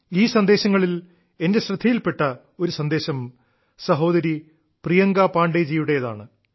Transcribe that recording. ഈ സന്ദേശങ്ങളിൽ എന്റെ ശ്രദ്ധയിൽപ്പെട്ട ഒരു സന്ദേശം സഹോദരി പ്രിയങ്കാ പാണ്ഡേജിയുടേതാണ്